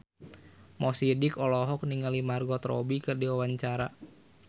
Mo Sidik olohok ningali Margot Robbie keur diwawancara